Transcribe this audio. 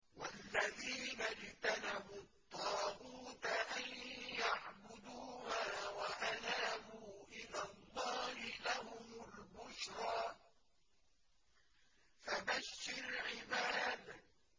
وَالَّذِينَ اجْتَنَبُوا الطَّاغُوتَ أَن يَعْبُدُوهَا وَأَنَابُوا إِلَى اللَّهِ لَهُمُ الْبُشْرَىٰ ۚ فَبَشِّرْ عِبَادِ